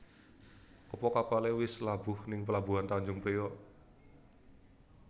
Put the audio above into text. Apa kapale wis labuh ning pelabuhan Tanjung Priok?